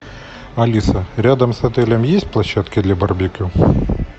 алиса рядом с отелем есть площадки для барбекю